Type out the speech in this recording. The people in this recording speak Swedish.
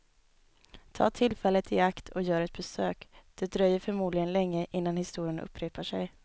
Ta tillfället i akt och gör ett besök, det dröjer förmodligen länge innan historien upprepar sig.